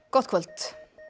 gott kvöld